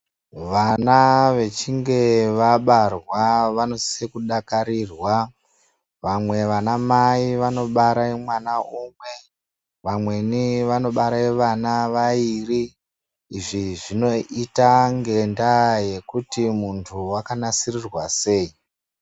Vana vechinge vabarwa vanosise kudakarirwa vamwe vanamai vanobare mwana umwe vamweni vanobare vana vaviri izvi zvinoita ngenda yekuti munhu wakanasirwa sei.